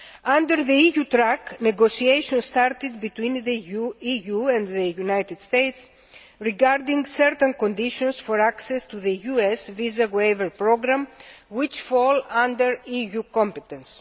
Under the EU track, negotiations started between the EU and the United States regarding certain conditions for access to the US Visa Waiver Programme which fall under EU competence.